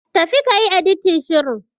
Tafi kayi Editin shirin.